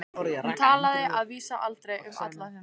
Hún talaði að vísu aldrei um Alla sinn.